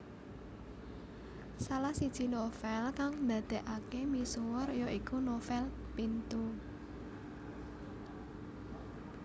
Salah siji novel kang ndadèkaké misuwur ya iku novèl Pintu